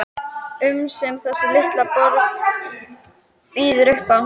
um sem þessi litla borg býður upp á.